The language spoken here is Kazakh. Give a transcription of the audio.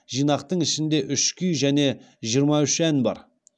жинақтың ішінде үш күй және жиырма үш ән бар